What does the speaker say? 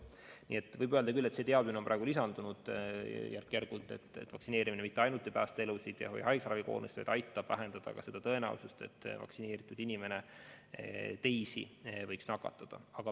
Nii et võib öelda, et teadmisi on praegu lisandunud järk-järgult ja on selge, et vaktsineerimine mitte ainult ei päästa elusid ega hoia haiglaravi koormust normaalsena, vaid aitab vähendada ka tõenäosust, et vaktsineeritud inimene teisi võiks nakatada.